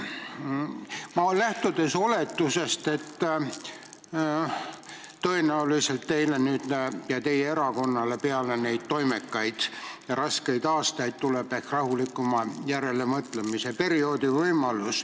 Ma lähtun oletusest, et tõenäoliselt teile ja teie erakonnale tuleb peale toimekaid raskeid aastaid ehk rahulikuma järelemõtlemise periood.